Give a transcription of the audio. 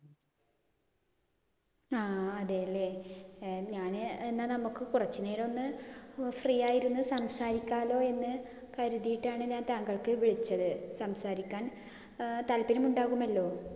ആഹ് അതേലെ. ഏർ ഞാന് എന്ന നമ്മുക്ക് കുറച്ചുനേരമൊന്ന് free ആയിരുന്ന് സംസാരിക്കാലോ എന്ന് കരുതീട്ടാണ് ഞാൻ താങ്കൾക്ക് വിളിച്ചത്. സംസാരിക്കാൻ ഏർ താല്പര്യം ഉണ്ടാവുമല്ലോ?